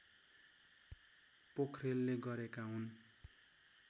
पोख्रेलले गरेका हुन्